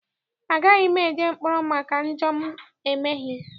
Agaghị m eje mkpọrọ maka njọ m emeghị.